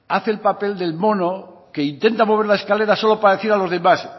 hace el papel del mono que intenta mover la escalera solo para decir a los demás